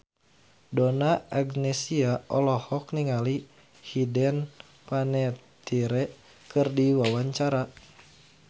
Donna Agnesia olohok ningali Hayden Panettiere keur diwawancara